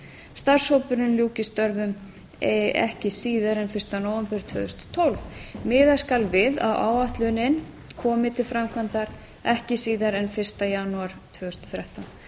starfshópurinn ljúki störfum ekki síðar en fyrsta nóvember tvö þúsund og tólf miða skal við að áætlunin komi til framkvæmdar ekki síðar en fyrsta janúar tvö þúsund og þrettán